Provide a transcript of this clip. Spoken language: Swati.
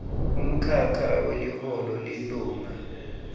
umkhakha weliholo lilunga